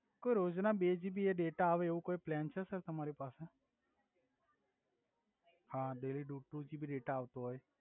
કો રોજ ના બે જીબી ડેટા આવે એવો કોઈ પલાન છે સર તમારી પાસે હા ડેય્લી ટુ જીબી ડેટા આવ્તો હોય